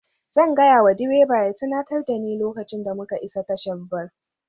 Zan gaya wa direba ya tunatar da ni lokacin da muka isa tashar bas